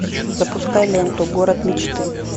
запускай ленту город мечты